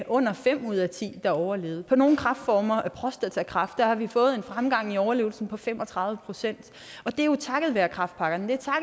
under fem ud af ti der overlevede for nogle kræftformer prostatakræft har vi fået en fremgang i overlevelsen på fem og tredive procent og det er jo takket være kræftpakkerne det